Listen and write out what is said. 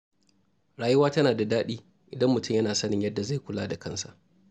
Rayuwa tana da daɗi idan mutum yana sanin yadda zai kula da kansa.